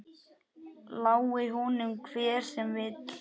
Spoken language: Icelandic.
Lái honum hver sem vill.